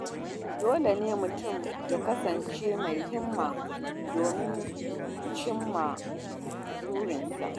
Dole ne mutum ya kasance mai himma domin cimma burinsa.